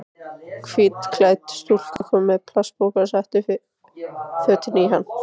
Hvítklædd stúlka kom með plastpoka og setti fötin í hann.